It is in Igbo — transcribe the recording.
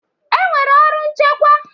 E nwere ọrụ nchịkwa.